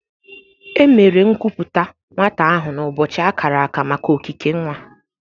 Emere nkuputa nwata ahụ n'ụbọchị akara aka maka okike nwa.